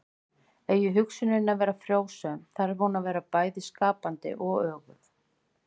Eigi hugsunin að vera frjósöm þarf hún að vera bæði skapandi og öguð.